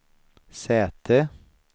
säte